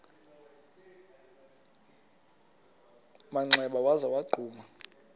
manxeba waza wagquma